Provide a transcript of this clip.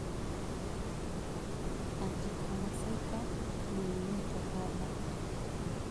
Urticamassaica Stinging nettle Hatha